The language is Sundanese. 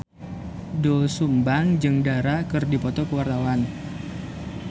Doel Sumbang jeung Dara keur dipoto ku wartawan